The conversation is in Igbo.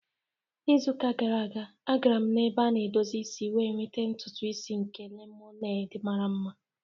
N'izuka gara aga, agara m ebe a na-edozi isi wee nweta ntutu isi nke lemoned mara mma.